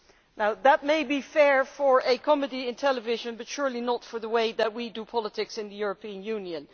Now that may be fair for a comedy on television, but it is surely not fair for the way that we do politics in the European Union.